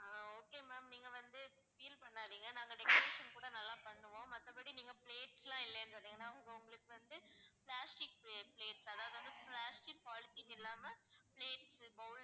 அஹ் okay ma'am நீங்க வந்து feel பண்ணாதீங்க. நாங்க next time இன்னும் கூட நல்லா பண்ணுவோம். மத்தபடி நீங்க plates லாம் இல்லன்னு சொன்னீங்கன்னா நாங்க உங்களுக்கு வந்து plastic plates அதாவது வந்து plastic polythene இல்லாம plates bowls